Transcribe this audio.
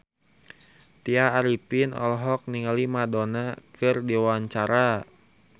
Tya Arifin olohok ningali Madonna keur diwawancara